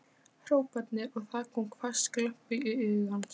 hrópanir og það kom hvass glampi í augu hans.